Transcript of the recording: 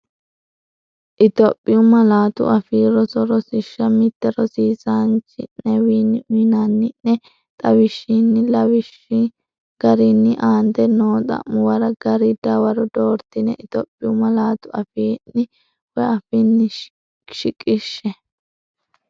Itophiyu Malaatu Afii Roso Rosiishsha Mite Rosiisaanchi’newiinni uyinanni’ne xawishshinna lawishshi garinni aante noo xa’muwara gari dawaro dooratenni Itophiyu malaatu afiinni shi- qishshe.